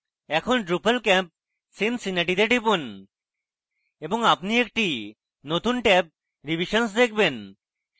এখন drupalcamp cincinnati তে টিপুন এবং আপনি একটি নতুন ট্যাব revisions দেখবেন